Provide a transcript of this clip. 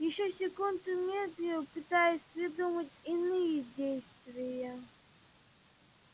ещё секунду медлил пытаясь придумать иные действия